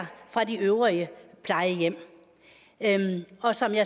plejehjemmet lotte